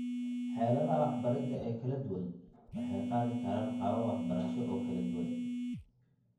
Xeeladaha waxbaridda ee kala duwan waxay qaadi karaan qaabab waxbarasho oo kala duwan.